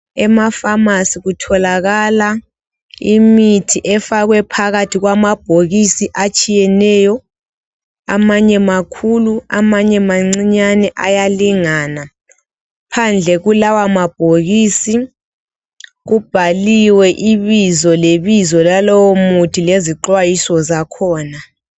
Emafamasi kutholakala imithi efakwe phakathi emabhokisini atshiyeneyo, amanye makhuli, amanye mancinyane ayalingana. Phandle kulawa mabhokisi, kubhaliwe ibizo lebizo lalowo muthi lezixwayiso zakhona.